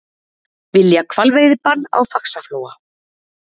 Vilja hvalveiðibann á Faxaflóa